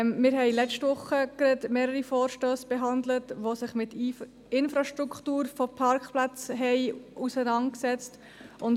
Wir haben gerade letzte Woche wieder mehrere Vorstösse behandelt, die sich mit der Infrastruktur von Parkplätzen auseinandergesetzt haben.